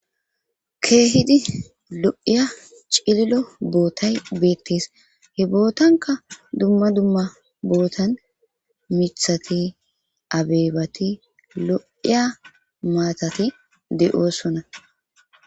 keehidi lo7iya cililo bootay beettes he bootanka dumma dumma bootan mithati abeebati lo7iya maatati de7oosona